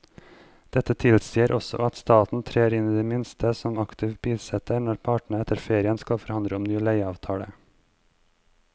Dette tilsier også at staten trer inn i det minste som aktiv bisitter når partene etter ferien skal forhandle om en ny leieavtale.